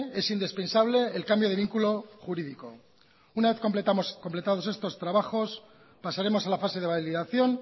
es indispensable el cambio de vinculo jurídico una vez completados estos trabajos pasaremos a la fase de validación